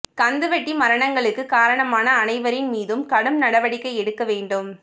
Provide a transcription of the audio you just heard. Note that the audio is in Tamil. கந்துவட்டி மரணங்களுக்கு காரணமான அனைவரின் மீதும் கடும் நடவடிக்கை எடுக்க வேண்டும்